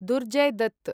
Durjoy Dutt